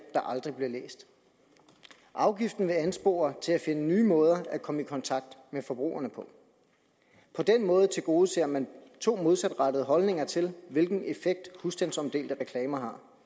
der aldrig bliver læst afgiften vil anspore til at finde nye måder at komme i kontakt med forbrugerne på på den måde tilgodeser man to modsatrettede holdninger til hvilken effekt husstandsomdelte reklamer